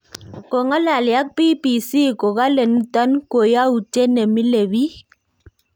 Kong'alali ak BBC kokale"Niton ko yautiet nemile biik"